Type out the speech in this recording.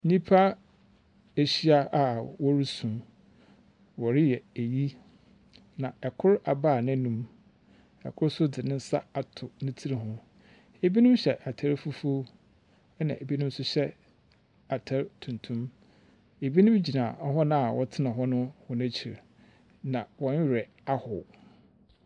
Nnipa ahyia a wɔresu. Wɔreyɛ ayi. Na ɛkoro abae nanum. Ɛkoro nso de ne nsa ato ne tiri ho. Ebinom hyɛ ataade fufuo, na ebinom nso hyɛ ataade tuntum. Ebinom gyina wɔ na wɔtena hɔ no akyiri. Na wɔn werɛ ahow.